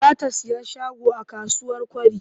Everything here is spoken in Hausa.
Za ta sayi shago a kasuwar Kwari.